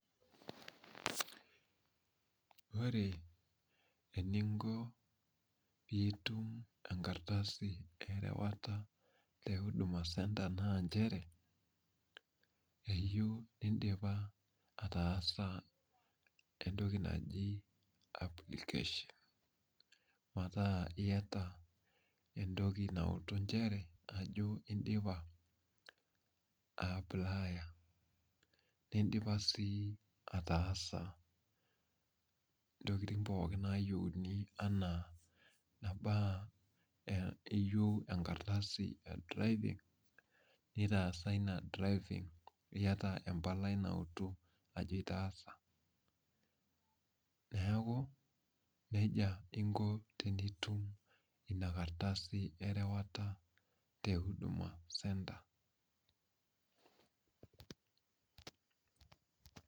ore eninko pee itum enkardasi erewata tehuduma naa ichere keyieu nidipa ataasa entoki naji applications entoki nautu inchere ajo idipa, apulaya nidipa sii atasa, intokitin pooki nayieuni enaa keyieu egardasi edriving naa itaasa neeku nejia inko tenitum ina kardasi, erewata tehuduma senta.